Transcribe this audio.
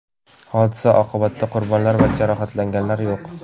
Hodisa oqibatida qurbonlar va jarohatlanganlar yo‘q.